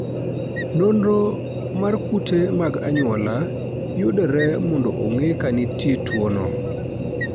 Nonro mar kute mag anyuola yudore mondo ong'e ka nitie tuwono.